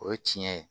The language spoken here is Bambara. O ye tiɲɛ ye